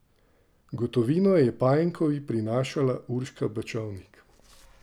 Gotovino je Pajenkovi prinašala Urška Bačovnik.